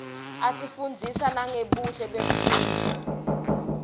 asifundzisa nangebuhle bemfunduo